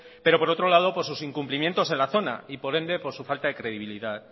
pero por otro lado por sus incumplimientos en la zona y por ende por su falta de credibilidad